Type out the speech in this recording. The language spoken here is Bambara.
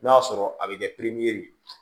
N'o y'a sɔrɔ a bɛ kɛ ye